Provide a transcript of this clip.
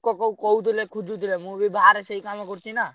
ଲୋକ କ କହୁଥିଲେ ଖୋଜୁଥିଲେ ମୁଁ ବି ବାହାରେ ସେଇ କାମ କରୁଛି ନା।